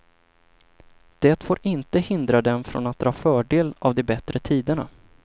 Det får inte hindra den från att dra fördel av de bättre tiderna.